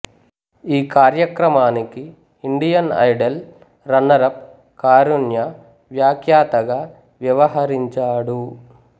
ఈ కార్యక్రమానికి Indian Idol runner up Karunya వ్యాఖ్యాతగా వ్యవహరించాడు